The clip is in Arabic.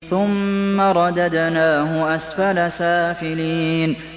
ثُمَّ رَدَدْنَاهُ أَسْفَلَ سَافِلِينَ